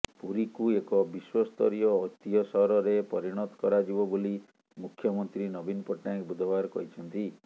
ପୁରୀକୁ ଏକ ବିଶ୍ୱସ୍ତରୀୟ ଐତିହ୍ୟ ସହରରେ ପରିଣତ କରାଯିବ ବୋଲି ମୁଖ୍ୟମନ୍ତ୍ରୀ ନବୀନ ପଟ୍ଟନାୟକ ବୁଧବାର କହିଛନ୍ତି